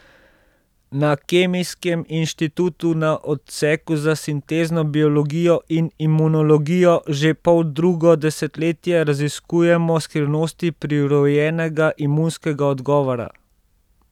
Na Kemijskem inštitutu na Odseku za sintezno biologijo in imunologijo že poldrugo desetletje raziskujemo skrivnosti prirojenega imunskega odgovora.